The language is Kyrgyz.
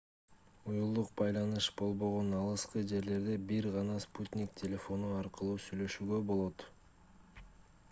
уюлдук байланыш болбогон алыскы жерлерде бир гана спутник телефону аркылуу сүйлөшүүгө болот